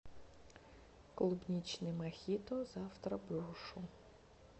клубничный мохито завтра брошу